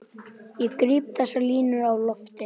Ég gríp þessar línur á lofti.